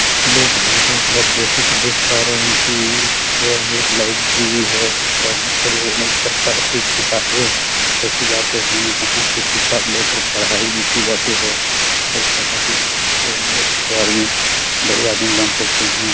Hello भाई लोग आप जैसे कि देख पा रहे हैं कि यह एक लाइब्रेरी है यहाँ पर अनेक प्रकार कि किताबे रखी जाते हैं यहाँ से किताब लेकर पढाई भी कि जाते है और पढाई से बहुत से आदमी बड़े आदमी बन सकते हैं।